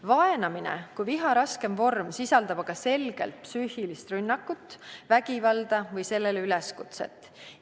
Vaenamine kui viha raskem vorm sisaldab aga selgelt psüühilist rünnakut, vägivalda või sellele üleskutset.